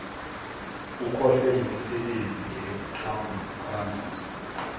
kukhohlwe yimisebenzi eqhakambiswe